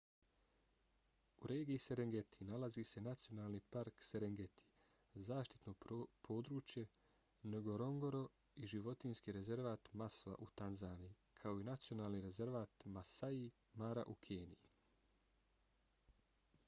u regiji serengeti nalazi se nacionalni park serengeti zaštitno područje ngorongoro i životinjski rezervat maswa u tanzaniji kao i nacionalni rezervat maasai mara u keniji